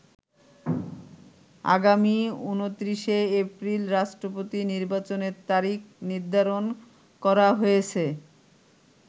আগামী ২৯শে এপ্রিল রাষ্ট্রপতি নির্বাচনের তারিখ নির্ধারণ করা হয়েছে।